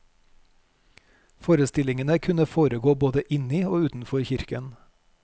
Forestillingene kunne foregå både inni og utenfor kirken.